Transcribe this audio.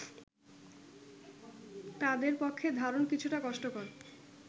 তাদের পক্ষে ধারণ কিছুটা কষ্টকর